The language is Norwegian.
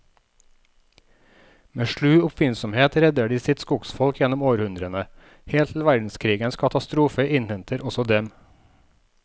Med slu oppfinnsomhet redder de sitt skogsfolk gjennom århundrene, helt til verdenskrigens katastrofe innhenter også dem.